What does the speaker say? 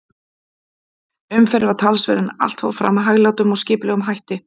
Umferð var talsverð, en allt fór fram með hæglátum og skipulegum hætti.